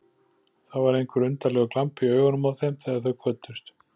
Það var einhver undarlegur glampi í augunum á þeim þegar þau kvöddust.